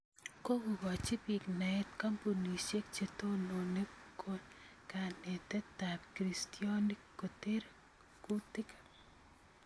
Kokokochi biik naet kombunisiek chetonoone kaneteetaab kristyonik koteer kuutiik